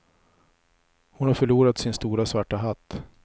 Hon har förlorat sin stora svarta hatt.